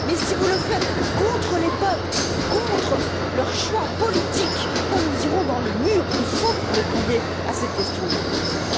Mais si vous le faites contre les peuples, contre leur choix politique, nous irons dans le mur. Il faut que vous répondiez à cette question, Monsieur le Commissaire.